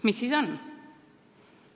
Mis siis on?